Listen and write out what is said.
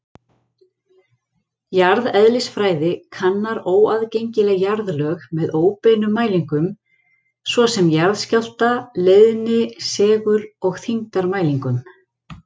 Jarðeðlisfræði kannar óaðgengileg jarðlög með óbeinum mælingum, svo sem jarðskjálfta-, leiðni-, segul- og þyngdarmælingum.